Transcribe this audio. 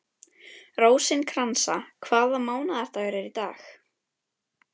Rósinkransa, hvaða mánaðardagur er í dag?